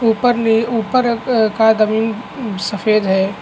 ऊपर का ऊपर का जमीन सफेद है।